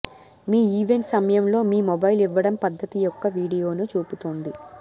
మీ event సమయంలో మీ mobile ఇవ్వడం పద్ధతి యొక్క వీడియోను చూపుతోంది